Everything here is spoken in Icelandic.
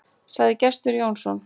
Sagði Gestur Jónsson.